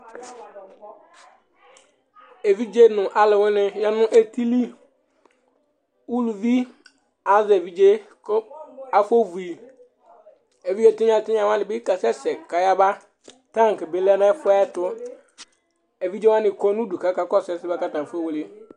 Evidze nʋ alʋwɩnɩ ya nʋ eti li, uluvi azɛ evidze yɛ, kʋ afɔvu yɩ, evidze tɩnya-tɩnya wanɩ bɩ kasɛsɛ kayaba, taŋk bɩ lɛ nʋ ɛfʋ yɛ ɛtʋ, evidze wanɩ kɔ nʋ udu kʋ akakɔsʋ ɛsɛ yɛ bʋa kʋ atanɩ afɔwle